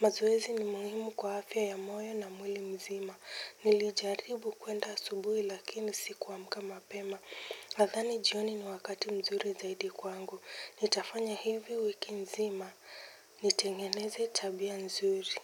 Mazoezi ni muhimu kwa afya ya moyo na mwili mzima. Nilijaribu kuenda asubuhi lakini siku amka mapema nadhani jioni ni wakati mzuri zaidi kwangu. Nitafanya hivi wiki nzima. Nitengeneze tabia mzuri.